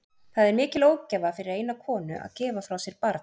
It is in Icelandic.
Það er mikil ógæfa fyrir eina konu að gefa frá sér barn.